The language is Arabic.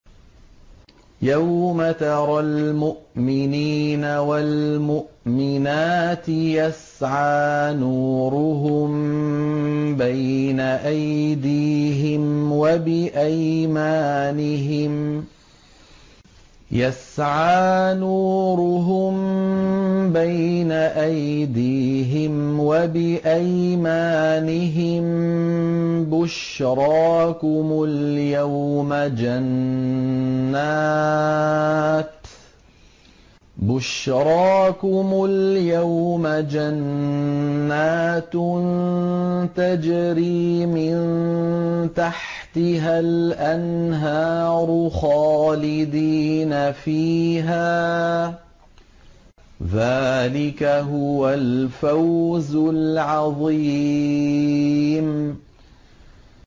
يَوْمَ تَرَى الْمُؤْمِنِينَ وَالْمُؤْمِنَاتِ يَسْعَىٰ نُورُهُم بَيْنَ أَيْدِيهِمْ وَبِأَيْمَانِهِم بُشْرَاكُمُ الْيَوْمَ جَنَّاتٌ تَجْرِي مِن تَحْتِهَا الْأَنْهَارُ خَالِدِينَ فِيهَا ۚ ذَٰلِكَ هُوَ الْفَوْزُ الْعَظِيمُ